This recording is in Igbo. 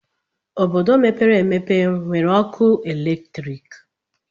Obodo mepere emepe enwere ọkụ eletrik.